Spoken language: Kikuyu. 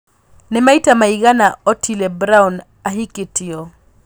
nĩ maĩta maigana otile brown ahikĩtio